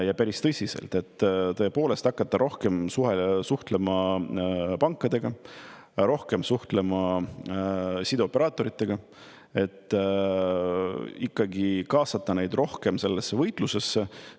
Ja päris tõsiselt hakata rohkem suhtlema pankadega, rohkem suhtlema sideoperaatoritega, et ikkagi kaasata neid rohkem sellesse võitlusesse.